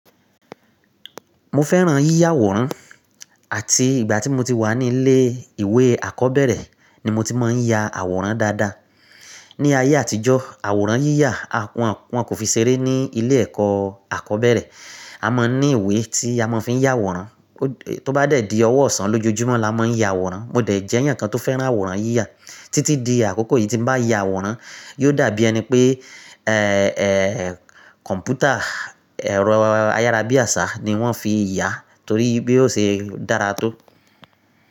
Mo fẹ́ràn yíya àwòrán àti ìgbà tí mo ti wà nílé ìwé àkọ́bẹ̀rẹ̀ ni mo ti máa ń ya àwòrán dáadáa. Ni ayé àtijọ́, àwòrán yíya wọn kò fi ṣeré ní ilé ẹ̀kọ́ àkọ́bẹ̀rẹ̀. A máa ń ní ìwé tí a máa fi ń ya àwòrán. Tó bá dẹ̀ di ọwọ́ ọ̀sán lójojúmọ́ la máa ń ya àwòrán. Mo dẹ̀ jẹ́ ènìyàn kan tó fẹ́ràn àwòrán yíya. Títí di àkókò yìí tí n bá ya àwòrán, yio dàbí ẹni pé kọ̀ǹpútà, ero ayárabíàṣá ni wọ́n fi yà torí i ṣe dára tó.